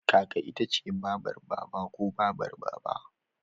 Kaka ita ce babar Baba ko Babar Baba.